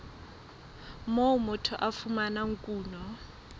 moo motho a fumanang kuno